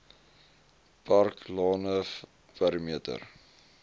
park lane perimeter